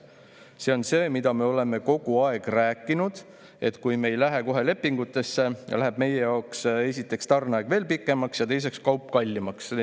See on see, mida me oleme ka kogu aeg rääkinud, et kui me ei lähe kohe lepingutesse, läheb meie jaoks esiteks tarneaeg veel pikemaks ja teiseks kaup kallimaks.